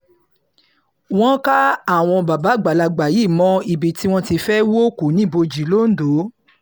wọ́n ká àwọn bàbá àgbàlagbà yìí mọ́ ibi tí wọ́n ti fẹ́ẹ́ hú òkú níbòji londo